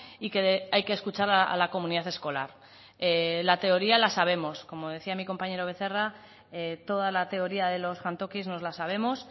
y que hay que escuchar a la comunidad escolar la teoría la sabemos como decía mi compañero becerra toda la teoría de los jantokis nos la sabemos